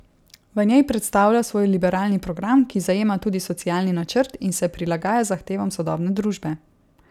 V njej predstavlja svoj liberalni program, ki zajema tudi socialni načrt in se prilagaja zahtevam sodobne družbe.